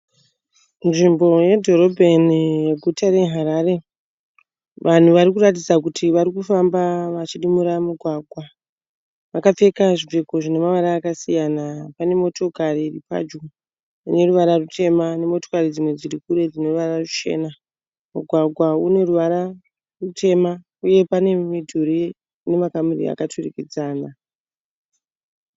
Nzvimbo yedhorobheni yeguta reHarare vanhu vari kuratidza kuti vari kufamba vachidimbura mugwagwa. Vakapfeka zvipfeko zvine mavara akasiyana. Pane mota motikari dziri padyo dzine ruvara rutema nemotokari dzimwe dziri kure dzine ruvara ruchena. Mugwagwa une ruvara rutema uye pane mudhuri une makamuri akaturikidzana.